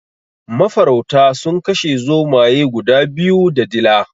Mafarauta sun kashe zomaye guda biyu da dila.